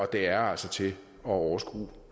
det er altså til at overskue